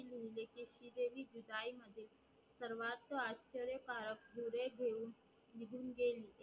सरवास्त आचार्यकारक पुरे घेऊन निघून गेली